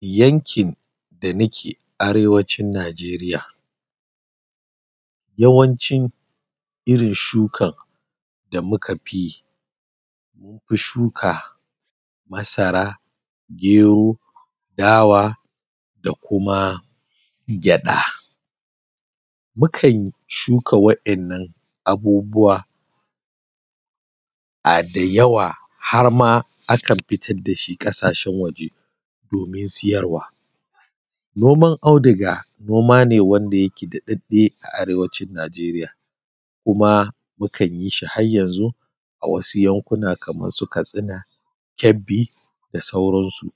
Yankin da muke Arewacin Nigeria, yawancin irin shukan da muka fi shuka masara, gero, dawa da kuma gyaɗa. Mukan shuka waɗannan abubuwa um da yawa har ma akan fitar da shi ƙasashen wajen domin siyarwa. Noman auduga noma ne wanda yake daɗaɗɗe a Arewacin Nigeria kuma mukan yi shi har yanzu a wasu yankuna kamar su Katsina, Kebbi da sauransu.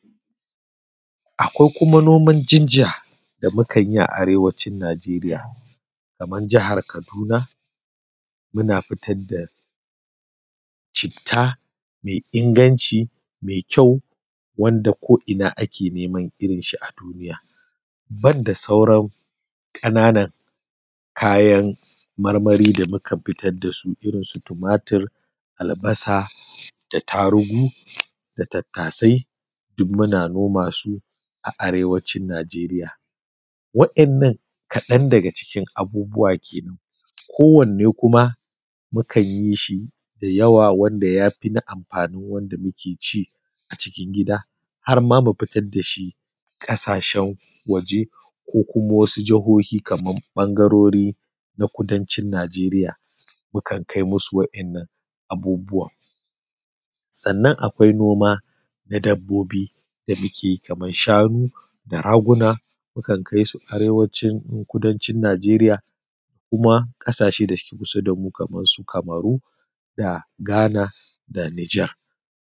Akwai kuma noman ginger da mukan yi a Arewacin Nigeria. Kamar jihar Kaduna, muna fitar da citta mai inganci mai ƙyau wanda ko'ina ake neman irinshi a duniya, banda sauran ƙananan kayan marmari da mukan fitar da su irin su tumatur, albasa da tarugu da tattasai, duk muna noma su a Arewacin Nigeria. Waƴannan kaɗan daga cikin abubuwa ke nan. Kowanne kuma mukan yi shi da yawa wanda ya fi na amfanin wanda muke ci a cikin gida har ma mu fitar da shi ƙasashen waje ko kuma wasu jihohi kamar ɓangarori na kudancin Nigeria. Mukan kai musu waƴannan abubuwan. Sannan akwai noma na dabbobi da muke yi kamar shanu da raguna. Mukan kai su Arewacin ko Kudancin Nigeria kuma kasashe da suke kusa da mu, kamar su Kamaru da Ghana da Niger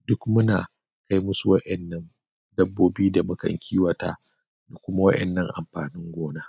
duk muna kai musu waƴannan dabbobi da mukan kiwata da kuma waƴannan amfanin gona.